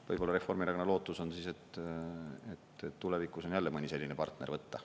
Võib-olla Reformierakonna lootus on siis, et tulevikus on jälle mõni selline partner võtta.